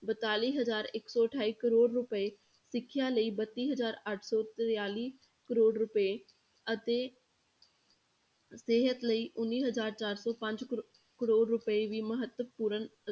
ਬਤਾਲੀ ਹਜ਼ਾਰ ਇੱਕ ਸੌ ਅਠਾਈ ਕਰੌੜ ਰੁਪਏ, ਸਿੱਖਿਆ ਲਈ ਬੱਤੀ ਹਜ਼ਾਰ ਅੱਠ ਸੌ ਤਰਤਾਲੀ ਕਰੌੜ ਰੁਪਏ ਅਤੇ ਸਿਹਤ ਲਈ ਉੱਨੀ ਹਜ਼ਾਰ ਚਾਰ ਸੌ ਪੰਜ ਕਰੌ~ ਕਰੌੜ ਰੁਪਏ ਵੀ ਮਹੱਤਵਪੂਰਨ